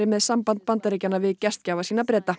með samband Bandaríkjanna við gestgjafa sína Breta